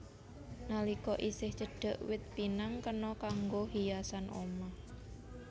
Nalika isih cendhèk wit pinang kena kanggo hiasan omah